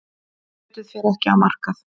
Kjötið fer ekki á markað.